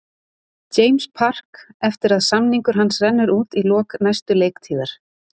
James Park eftir að samningur hans rennur út í lok næstu leiktíðar.